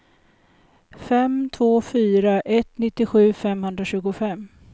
fem två fyra ett nittiosju femhundratjugofem